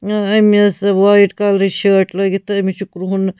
اأمِس white کلرٕچ شٲٹۍ .لٲگِتھ تہٕ أمِس چھ کرٛہُن